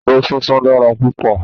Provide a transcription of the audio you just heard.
Àgbàdo súnsun dára púpọ̀.